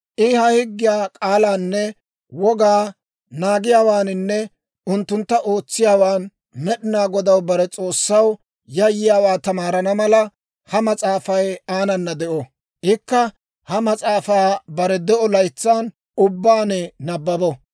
I ha higgiyaa k'aalaanne wogaa naagiyaawaaninne unttuntta ootsiyaawaan Med'inaa Godaw, bare S'oossaw, yayyiyaawaa tamaarana mala, ha mas'aafay aanana de'o; ikka ha mas'aafaa bare de'o laytsan ubbaan nabbabo.